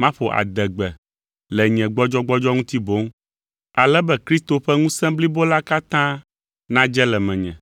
maƒo adegbe le nye gbɔdzɔgbɔdzɔ ŋuti boŋ, ale be Kristo ƒe ŋusẽ blibo la katã nadze le menye.